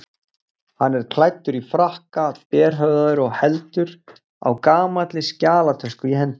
Hann er klæddur í frakka, berhöfðaður og heldur á gamalli skjalatösku í hendi.